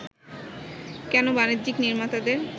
কেন বাণিজ্যিক নির্মাতাদের